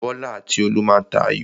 Bọ́lá àti Olú má a tà ayò.